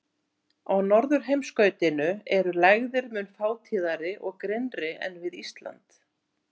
Á norðurheimskautinu eru lægðir mun fátíðari og grynnri en við Ísland.